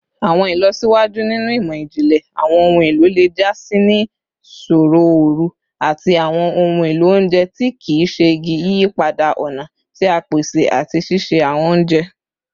Awọn ilọsiwaju ninu imọ-jinlẹ awọn ohun elo le ja si ni sooro ooru ati awọn ohun elo ounjẹ ti kii ṣe igi, yiyipada ọna ti a pese ati sise awọn ounjẹ